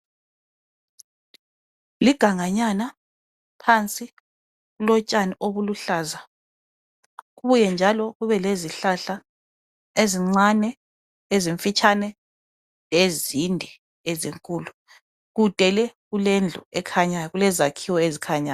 Liganganyana, phansi kulotshani obuluhlaza kubuye njalo kube lezihlahla ezincane ezimfitshane, lezinde lezinkulu. Kude le kulendlu ekhanyayo. Kulezakhiwo ezikhanyayo